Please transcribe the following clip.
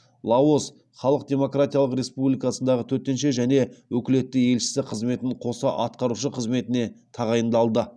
лаос халық демократиялық республикасындағы төтенше және өкілетті елшісі қызметін қоса атқарушы қызметіне тағайындалды